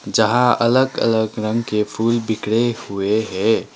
यहां अलग अलग रंग के फूल बिखरे हुए है।